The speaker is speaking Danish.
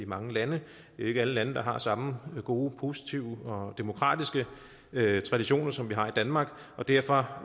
mange lande det er ikke alle lande der har samme gode positive og demokratiske traditioner som vi har i danmark derfor